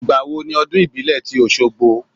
Ìgbà wo ni ọdún ìbílẹ̀ tí Oṣogbo?